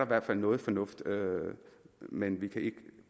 hvert fald noget fornuft men vi kan ikke